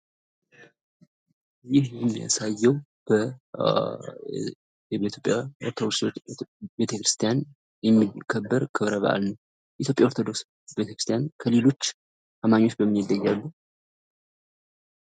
ይህ የሚያሳየው በኢትዮጵያ ኦርቶዶክስ ቤተክርስትያን የሚከበር ክብረ በአል ነው። የኢትዮጵያ ኦርቶዶክስ ቤተክርስቲያን ከሌሎች አማኞች በምን ይለያሉ?